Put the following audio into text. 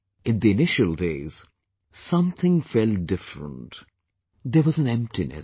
In the initial days, something felt different, there was an emptiness